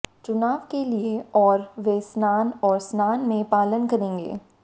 चुनाव के लिए और वे स्नान और स्नान में पालन करेंगे